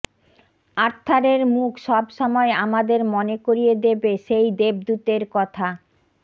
আর্থারের মুখ সব সময় আমাদের মনে করিয়ে দেবে সেই দেবদূতের কথা